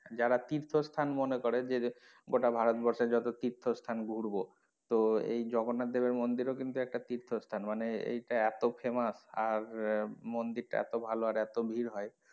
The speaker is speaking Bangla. যারা তীর্থ স্থান মনে করে গোটা ভারতবর্ষে যত তীর্থস্থান ঘুরবো তো এই জগন্নাথ দেবের মন্দিরেও কিন্তু একটা তীর্থস্থান মানে এইটা এতো famous আর মন্দির টা এতো ভালো এতো ভিড় হয়,